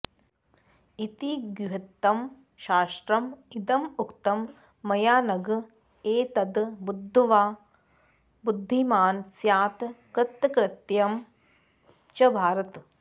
इति गुह्यतमं शास्त्रम् इदम् उक्तं मयानघ एतद् बुद्ध्वा बुद्धिमान् स्यात् कृतकृत्यः च भारत